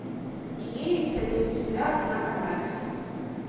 имеется ли у тебя на канате